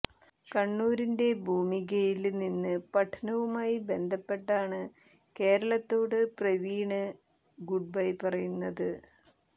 കണ്ണൂരിന്റെ ഭൂമികയില് നിന്ന് പഠനവുമായി ബന്ധപ്പെട്ടാണ് കേരളത്തോട് പ്രവീണ് ഗുഡ്ബൈ പറയുന്നത്